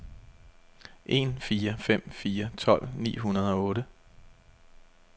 en fire fem fire tolv ni hundrede og otte